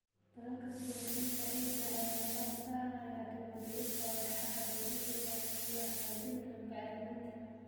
Dadaalka soo celinta ciidda ayaa diiradda saaraya dib-u-dhiska walxaha dabiiciga ah iyo hagaajinta bacriminta.